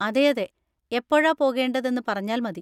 അതെയതെ, എപ്പോഴാ പോകേണ്ടതെന്ന് പറഞ്ഞാൽ മതി.